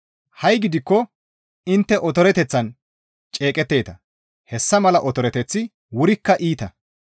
Ha7i gidikko intte otoreteththan ceeqetteeta; hessa mala otoreteththi wurikka iita.